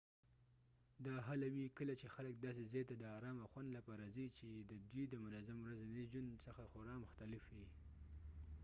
دا هله وي کله چې خلک داسې ځای ته د ارام او خوند لپاره ځي چې د دوی د منظم ورځني ژوند څخه خورا مختلف وي